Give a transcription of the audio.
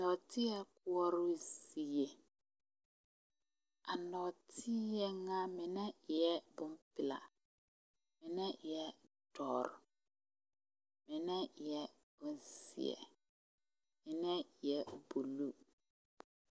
Nɔɔteɛ koɔrɔ zie a nɔɔteɛ ŋa mine eɛ bompelaa mine eɛ doɔre mine eɛ bonzeɛ mine eɛ buluu.